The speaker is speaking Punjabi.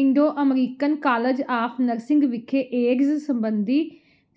Indo American college of nursing ਵਿਖੇ ਏਡਜ਼ ਸਬੰਧੀ